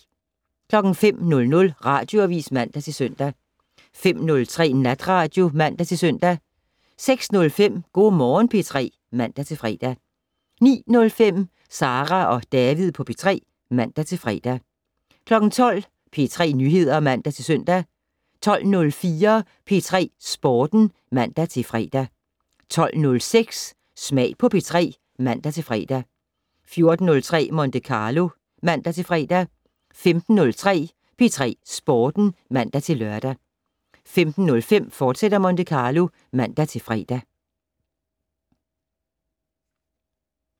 05:00: Radioavis (man-søn) 05:03: Natradio (man-søn) 06:05: Go' Morgen P3 (man-fre) 09:05: Sara og David på P3 (man-fre) 12:00: P3 Nyheder (man-søn) 12:04: P3 Sporten (man-fre) 12:06: Smag på P3 (man-fre) 14:03: Monte Carlo (man-fre) 15:03: P3 Sporten (man-lør) 15:05: Monte Carlo, fortsat (man-fre)